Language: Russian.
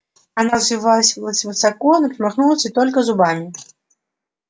она взвилась высоко но промахнулась и только лязгнула зубами